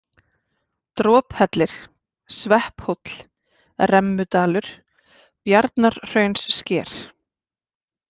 Drophellir, Svepphóll, Remmudalur, Bjarnarhraunssker